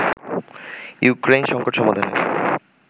Ukraine সঙ্কট সমাধানে